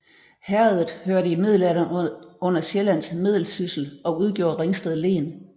Herredet hørte i middelalderen under Sjællands Meddelsyssel og udgjorde Ringsted Len